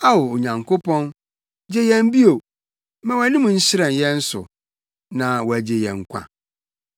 Ao Onyankopɔn, gye yɛn bio; ma wʼanim nhyerɛn yɛn so, na wɔagye yɛn nkwa.